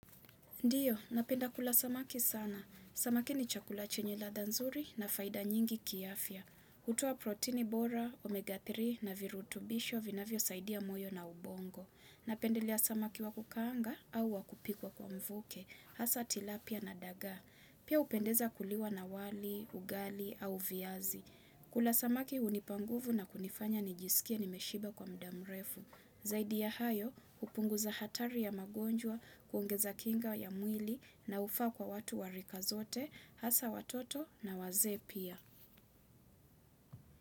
Ndiyo, napenda kula samaki sana. Samaki ni chakula chenye ladha nzuri na faida nyingi ki afya. Hutoa protini bora, omega tatu na virutubisho vinavyo saidia moyo na ubongo. Napendelea samaki wa kukaanga au wa kupikwa kwa mvuke. Hasa tilapia na daga. Pia upendeza kuliwa na wali, ugali au viazi. Kula samaki hunipa nguvu na kunifanya nijisikie nimeshiba kwa muda mrefu. Zaidi ya hayo, upunguza hatari ya magonjwa, kuongeza kinga ya mwili na ufaa kwa watu wa rika zote, hasaa watoto na wazee pia.